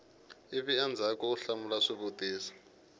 ivi endzhaku u hlamula swivutiso